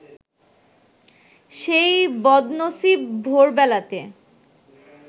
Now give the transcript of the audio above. সেই বদনসিব ভোরবেলাতে